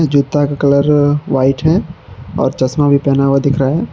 जूता का colour white है और चश्मा भी पहना हुआ दिख रहा है।